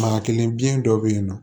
Ma kelen biɲɛ dɔ be yen nɔ